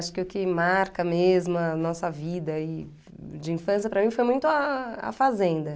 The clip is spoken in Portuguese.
Acho que o que marca mesmo a nossa vida aí de infância para mim foi muito a a fazenda.